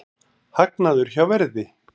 Hagnaður hjá Verði